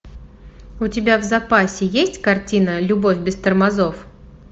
у тебя в запасе есть картина любовь без тормозов